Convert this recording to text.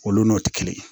Olu n'o tɛ kelen ye